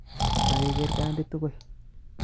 Kakeker Kandi tugul